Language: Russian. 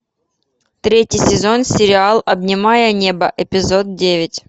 третий сезон сериал обнимая небо эпизод девять